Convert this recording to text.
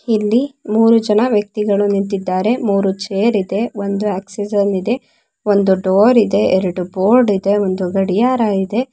ಇಲ್ಲಿ ಮೂರೂ ಜನ ವ್ಯಕ್ತಿಗಳು ನಿಂತಿದ್ದಾರೆ. ಮೂರೂ ಚೇರ್ ಇದೆ ಒಂದು ಆಕ್ಸಿಜನ್ ಇದೆ ಒಂದು ಡೋರ್ ಇದೆ ಎರಡು ಬೋರ್ಡ್ ಇದೆ ಒಂದು ಗಡಿಯಾರ ಇದೆ.